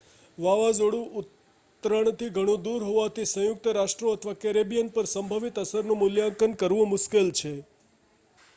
વાવાઝોડું ઉતરણથી ઘણું દૂર હોવાથી સંયુક્ત રાષ્ટ્રો અથવા કેરેબિયન પર સંભવિત અસરનું મૂલ્યાંકન કરવું મુશ્કેલ છે